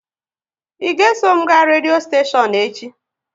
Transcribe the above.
Ị ga eso m ga redio steshion echi?